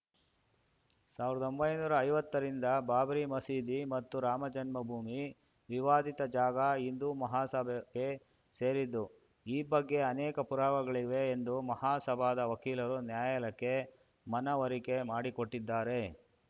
ಸಾವಿರ್ದೊಂಬೈ ನೂರಾ ಐವತ್ತ ರಿಂದ ಬಾಬರಿ ಮಸೀದಿ ಮತ್ತು ರಾಮಜನ್ಮ ಭೂಮಿ ವಿವಾದಿತ ಜಾಗ ಹಿಂದೂ ಮಹಾಸಭಾಗೆ ಸೇರಿದ್ದು ಈ ಬಗ್ಗೆ ಅನೇಕ ಪುರಾವೆಗಳಿವೆ ಎಂದು ಮಹಾಸಭಾದ ವಕೀಲರು ನ್ಯಾಯಾಲಯಕ್ಕೆ ಮನವರಿಕೆ ಮಾಡಿಕೊಟ್ಟಿದ್ದಾರೆ